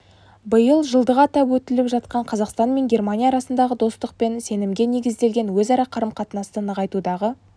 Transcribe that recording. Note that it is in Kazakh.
биыл жылдығы атап өтіліп жатқан қазақстан мен германия арасындағы достық пен сенімге негізделген өзара қарым-қатынасты нығайтудағы